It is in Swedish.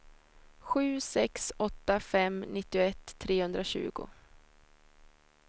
sju sex åtta fem nittioett trehundratjugo